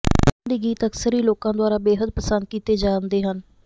ਉਹਨਾਂ ਦੇ ਗੀਤ ਅਕਸਰ ਹੀ ਲੋਕਾਂ ਦੁਆਰਾ ਬੇਹੱਦ ਪਸੰਦ ਕੀਤੇ ਜਾਂਦੇ ਹਨ